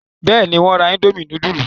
Bẹ́ẹ̀ni, wọ́n ra indomie núdúlù.